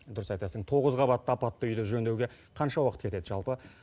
дұрыс айтасың тоғыз қабатты апатты үйді жөндеуге қанша уақыт кетеді жалпы